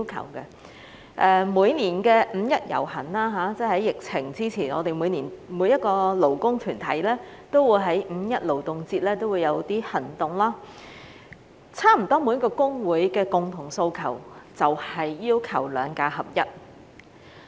在疫情前，每年五一勞動節舉行遊行時，我們每一個勞工團體也會有一些行動，差不多每個公會的共同訴求都是"兩假合一"。